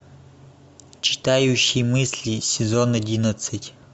читающий мысли сезон одиннадцать